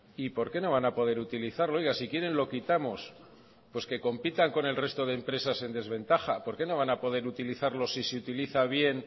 y por qué no van a poder utilizarlo oiga si quieren lo quitamos pues que compitan con el resto de empresas en desventaja por qué no van a poder utilizarlos si se utiliza bien